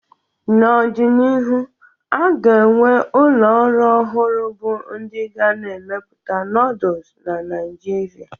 N'ọdịnihu, a ga-enwe ụlọ ọrụ ọhụrụ bụ ndị ga na-emepụta nooduls na Naijiria